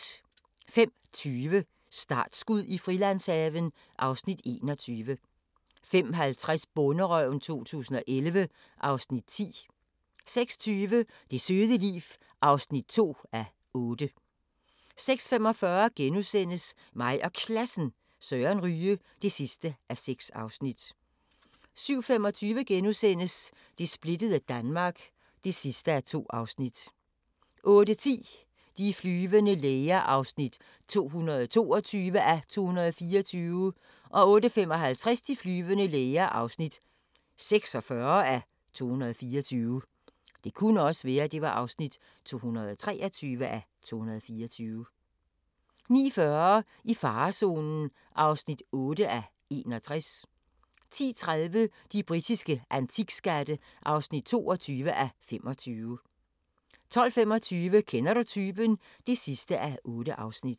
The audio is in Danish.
05:20: Startskud i Frilandshaven (Afs. 21) 05:50: Bonderøven 2011 (Afs. 10) 06:20: Det søde liv (2:8) 06:45: Mig og Klassen – Søren Ryge (6:6)* 07:25: Det splittede Danmark (2:2)* 08:10: De flyvende læger (222:224) 08:55: De flyvende læger (46:224) 09:40: I farezonen (8:61) 10:30: De britiske antikskatte (22:25) 12:25: Kender du typen? (8:8)